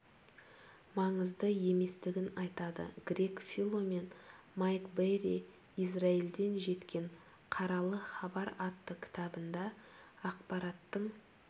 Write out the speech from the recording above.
маңызды еместігін айтады грег фило мен майк берри израильден жеткен қаралы хабар атты кітабында ақпараттың